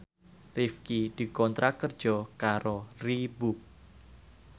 Rifqi dikontrak kerja karo Reebook